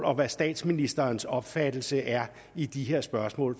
om hvad statsministerens opfattelse er i disse spørgsmål